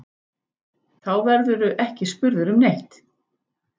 Þá verðurðu ekki spurður um neitt.